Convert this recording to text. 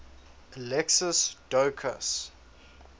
alexios doukas